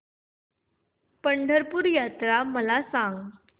पंढरपूर यात्रा मला सांग